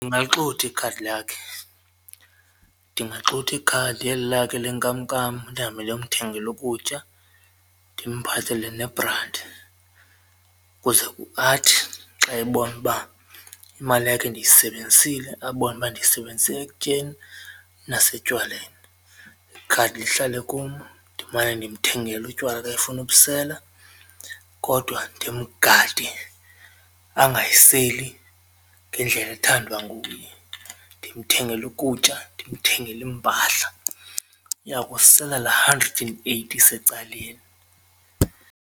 Ndingaxutha ikhadi lakhe, ndingaxutha ikhadi eli lakhe le nkamnkam ndihambe ndiyomthengela ukutya ndimphathele nebranti kuze athi xa ebona uba imali yakhe ndiyisebenzisile abone uba ndiyisebenzisele ekutyeni nasetywaleni ikhadi lihlale kum ndimane ndimthengela utywala xa efuna ubusela kodwa ndimgade angayiseli ngendlela ethandwa nguye. Ndimthengele ukutya ndimthengele iimpahla uya kusela la hundred and eighty isecaleni.